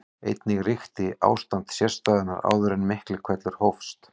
Einnig ríkti ástand sérstæðunnar áður en Miklihvellur hófst.